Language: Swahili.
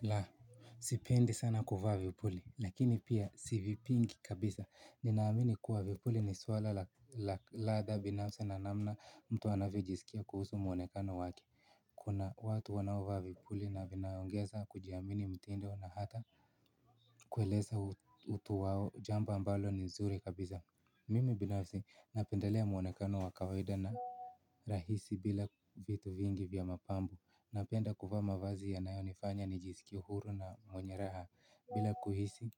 La sipendi sana kuvaa vipuli lakini pia sivipingi kabisa ninaamini kuwa vipuli ni swala la ladha binafsi na namna mtu anavyojiskia kuhusu mwonekano wake. Kuna watu wanaovaa vipuli na vinaongeza kujiamini mtindo na hata kueleza utu wao, jambo ambalo ni zuri kabisa. Mimi binafsi napendelea mwonekano wa kawaida na rahisi bila vitu vingi vya mapambo napenda kuvaa mavazi yanayonifanya nijiskie huru na mwenye raha bila kuhisi